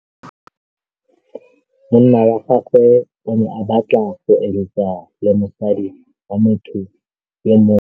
Monna wa gagwe o ne a batla go êlêtsa le mosadi wa motho yo mongwe.